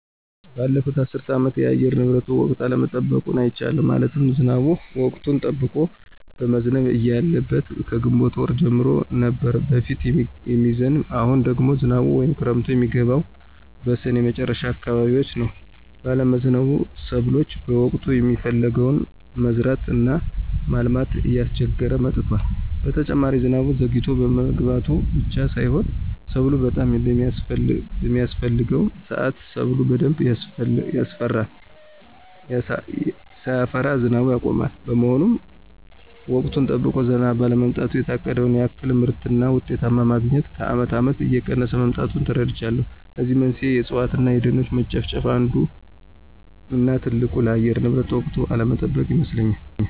ባለፉት አስር አመታት የአየር ንብረቱ ወቅቱን አለመጠበቁን አይቻለሁ። ማለትም ዝናቡ ወቅቱን ጠብቆ መዝነብ እያለበት ከግንቦት ወር ጀምሮ ነበር በፊት የሚዝንብ አሁን ደግሞ ዝናቡ ወይም ክረምቱ የሚገባው በስኔ መጨረሻ አካባቢዎች ነው ባለመዝነቡ ሰብሎ በወቅቱ የሚፈለገውን መዝራት እና ማልማት እያስቸገረ መጥቷል። በተጨማሪ ዝናቡ ዘግይቶ መግባቱ ብቻ ሳይሆን ሰብሉ በጣም በሚያስፍሕገው ስአት ሰብሉ በደንብ ሳያፈራ ዝናቡ ያቆማል። በመሆኑም ወቅቱን ጠብቆ ዝናብ ባለመጣሉ የታቀደውን ያክል ምርትና ውጤት ማግኞት ከአመት አመታት እየቀነሰ መምጣቱን ተረድቻለሁ። ለዚህም መንስኤው የእፅዋት እነ የደኖች መጨፍጨፍ አንዱ እነ ትልቁ ለአየር ንብረት ወቅቱን አለመጠበቅ ይመስለኞል።